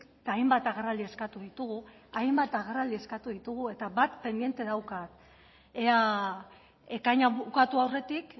eta hainbat agerraldi eskatu ditugu hainbat agerraldi eskatu ditugu eta bat pendiente daukat ea ekaina bukatu aurretik